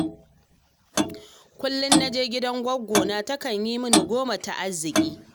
Kullum na je gidan gwaggona, takan yi min goma ta arziki